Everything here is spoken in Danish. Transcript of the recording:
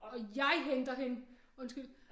Og jeg henter hende undskyld